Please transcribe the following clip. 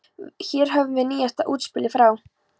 Hér höfum við nýjasta útspilið frá